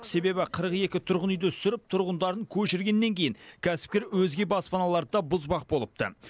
себебі қырық екі тұрғын үйді сүріп тұрғындарын көшіргеннен кейін кәсіпкер өзге баспаналарды да бұзбақ болыпты